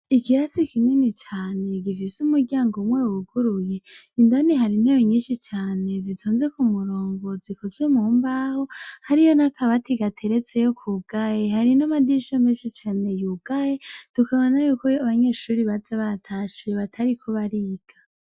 Ikirasi kinini cane gifise umuryango umwe wuguruye indani hari intebe nyinshi cane zitonze ku murongo zikozwe mu mbaho hariyo n'akabati gateresteko kugaye hari n'amadirisha menshi cane yugaye tukabona yuko abanyeshure baza batashe batariko bariga.